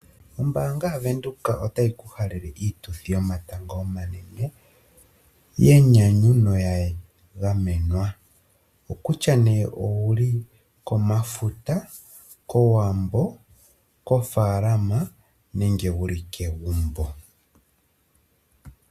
Ombaanga yaVenduka otayi ku halele iituthi yomatango omanene yenyanyu noya gamenwa. Okutya owuli komafuta, kowambo kofaalama nenge ouli kegumbo.